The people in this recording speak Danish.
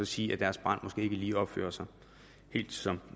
sige at deres barn måske ikke lige opfører sig helt som